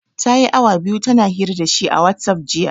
Ta yi awa biyu tana hira da shi a watsaf, jiya.